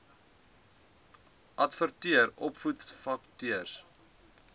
wkod adverteer opvoedersvakatures